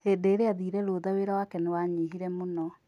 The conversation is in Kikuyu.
Hĩndĩ ĩra athire rũtha wĩra wake nĩ wanyihire mũno.